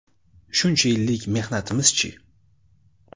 Shuncha yillik mehnatimiz-chi?